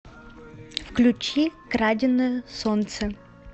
включи краденое солнце